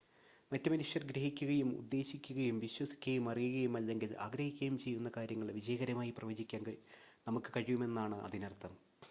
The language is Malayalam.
മറ്റ് മനുഷ്യർ ഗ്രഹിക്കുകയും ഉദ്ദേശിക്കുകയും വിശ്വസിക്കുകയും അറിയുകയും അല്ലെങ്കിൽ ആഗ്രഹിക്കുകയും ചെയ്യുന്ന കാര്യങ്ങൾ വിജയകരമായി പ്രവചിക്കാൻ നമുക്ക് കഴിയുമെന്നാണ് അതിനർത്ഥം